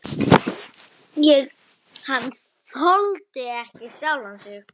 Hann þoldi ekki sjálfan sig.